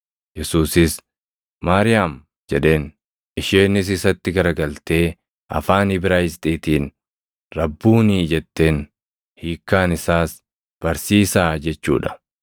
Yesuusis, “Maariyaam!” jedheen. Isheenis isatti gara galtee afaan Ibraayisxiitiin, “Rabbuunii!” jetteen. Hiikkaan isaas “Barsiisaa” jechuu dha.